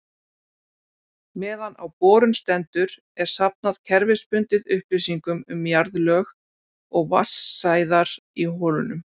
Meðan á borun stendur er safnað kerfisbundið upplýsingum um jarðlög og vatnsæðar í holunum.